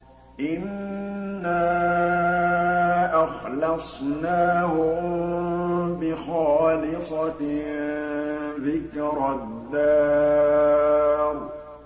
إِنَّا أَخْلَصْنَاهُم بِخَالِصَةٍ ذِكْرَى الدَّارِ